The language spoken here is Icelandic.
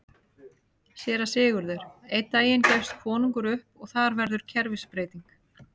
SÉRA SIGURÐUR: Einn daginn gefst konungur upp og þar verður kerfisbreyting!